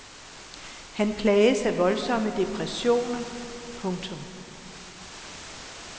Han plages af voldsomme depressioner. punktum